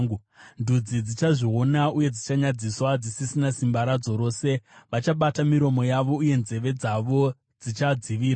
Ndudzi dzichazviona uye dzichanyadziswa, dzisisina simba radzo rose. Vachabata miromo yavo uye nzeve dzavo dzichadzivira.